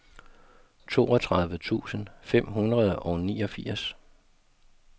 toogtredive tusind fem hundrede og niogfirs